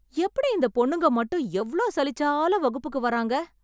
எப்படி இந்த பொண்ணுங்க மட்டும் எவ்ளோ சலிச்சாலும் வகுப்புக்கு வராங்க?